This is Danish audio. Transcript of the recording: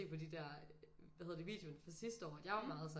På de der hvad hedder det videoer fra sidste år at jeg var meget sådan